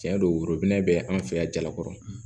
Tiɲɛ don worobinɛ bɛ an fɛ yan jalakɔrɔ